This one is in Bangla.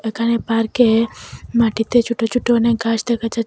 এখানে পার্কের মাটিতে ছোট ছোট অনেক ঘাস দেখা যাচ্ছ--